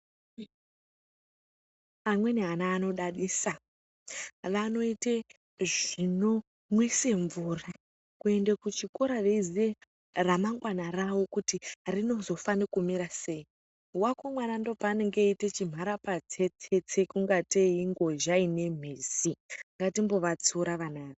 Amweni ana vanodadisa vanoite zvinomwisa mvura ,kuenda kuchikora veiziya kuti remangwana ravo richamira sei. Wako mwana ndipo paanenge achiite mharapatsetsetse kuita kunge ngozha ine mitsi, ngatimbovatsiura vana ava.